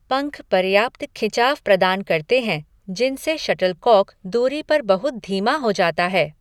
पंख पर्याप्त खिंचाव प्रदान करते हैं, जिनसे शटलकॉक दूरी पर बहुत धीमा हो जाता है।